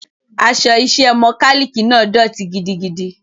Aṣọ iṣẹ́ mọkálíìkì náà dọ̀tí gidigidi.